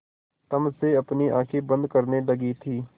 तम से अपनी आँखें बंद करने लगी थी